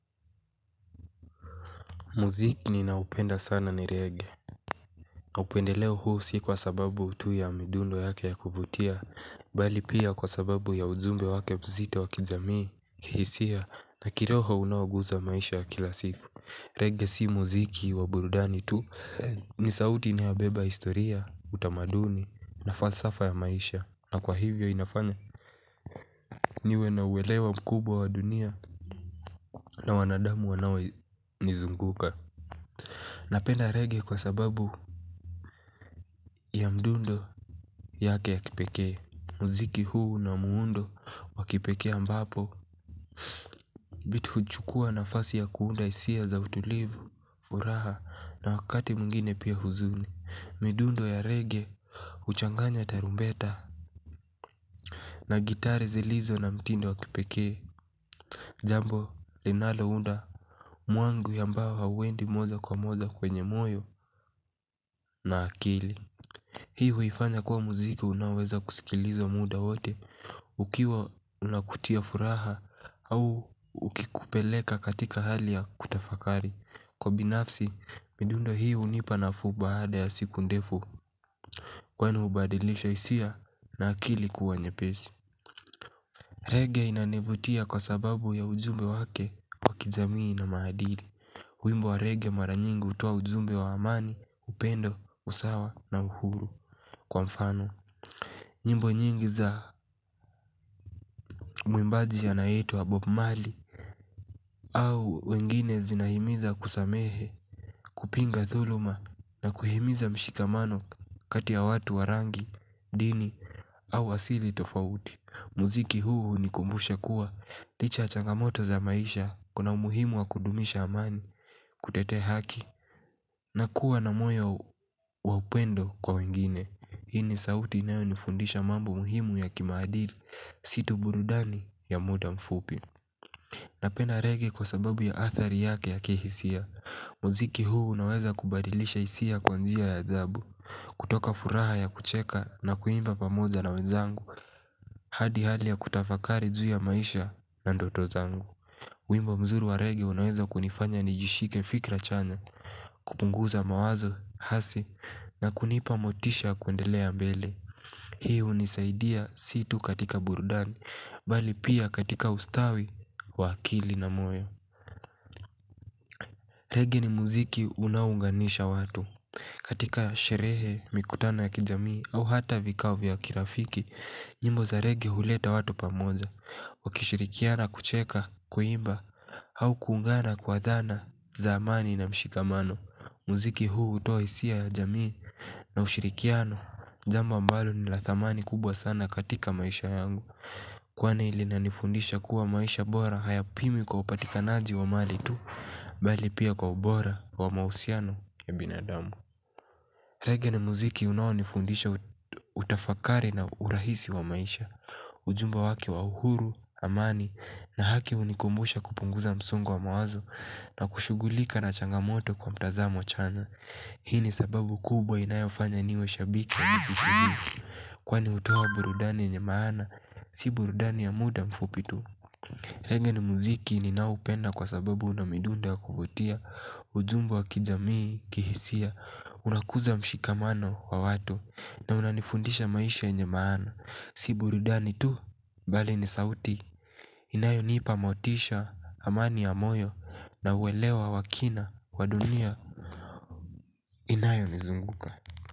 Muziki ninaopenda sana ni reggae. Na upendeleo huu si kwa sababu tu ya midundo yake ya kuvutia. Bali pia kwa sababu ya ujumbe wake mzito wa kijamii. Kihisia na kirohounaoguzwa maisha ya kila siku. Reggae si muziki wa burudani tu. Ni sauti inayobeba historia, utamaduni na falsafa ya maisha. Na kwa hivyo inafanya niwe na uelewa mkubwa wa dunia, na wanadamu wanaonizunguka. Napenda reggae kwa sababu. Ya mdundo yake ya kipekee muziki huu una muundo wakipeke ambapo vitu huchukua nafasi ya kuunda hisia za utulivu, furaha na wakati mwingine pia huzuni. Midundo ya reggae huchanganya tarumbeta. Na gitari zilizo na mtindo wakipeke jambo linalounda mwangu ambao hauendi moja kwa moja kwenye moyo na akili. Hii huifanya kuwa muziki unaoweza kusikilizo muda wote. Ukiwa unakutia furaha au ukikupeleka katika hali ya kutafakari. Kwa binafsi, midundo hii hunipa nafuu baada ya siku ndefu kwnu hubadilisha hisia na akili kuwa nyepesi. Reggae inanivutia kwa sababu ya ujumbe wake wa kijamii na maadili, wimbo wa regigae mara nyingi hutoa ujumbe wa amani, upendo, usawa na uhuru kwa mfano. Nyimbo nyingi za mwimbaji anayeitwa wa Bob Marley Au wengine zinahimiza kusamehe, kupinga dhuluma na kuhimiza mshikamano katia y watu wa rangi, dini au asili tofauti. Muziki huu hunikumbusha kuwa, licha ya changamoto za maisha, kuna umuhimu wa kudumisha amani, kutetea haki. Na kuwa na moyo wa upendo kwa wengine. Hii ni sauti inayonifundisha mambo muhimu ya kimaadili, si tu burudani ya muda mfupi. Napenda reggae kwa sababu ya athari yake ya kihisia. Muziki huu unaweza kubadilisha hisia kwa njia ya ajabu kutoka furaha ya kucheka na kuimba pamozja na wenzangu hadi hali ya kutafakari juu ya maisha na ndoto zangu wimbo mzuri wa reggae unaweza kunifanya nijishike fikra chanya. Kupunguza mawazo, hasi na kunipa motisha ya kuendelea mbele. Hii hunisaidia si tu katika burudani. Bali pia katika ustawi, wa akili na moyo. Reggae ni muziki unaounganisha watu. Katika sherehe, mikutana ya kijamii, au hata vikao vya kirafiki, nyimbo za reggae huleta watu pamoja. Kuishirikiana kucheka, kuimba, au kuungana kwa dhana, za amani na mshikamano. Muziki huu hutoa hisia ya jamii na ushirikiano, jambo ambalo ni la thamani kubwa sana katika maisha yangu. Kwan linanifundisha kuwa maisha bora hayapwii kwa upatikanaji wa mali tu bali pia kwa ubora wa mahusiano ya binadamu. Reggae ni muziki unaonifundisha utafakari na urahisi wa maisha. Ujumbe waki wa uhuru, amani na haki hunikumbusha kupunguza msongo wa mawazo na kushugulika na changamoto kwa mtazamo chanya. Hii ni sababu kubwa inayofanya niwe shabiki ya muziki huu kwani hutoa burudani yenye maana, si burudani ya muda mfupitu. Reggae muziki ninaopenda kwa sababu una midundo kuvutia, ujumbe wa kijamii, kihisia, unakuza mshikamano wa watu, na unanifundisha maisha yenye maana, si burudani tu, bali ni sauti, inayonipa motisha, amani ya moyo, na uelewa wa kina, wa dunia, inayo nizunguka.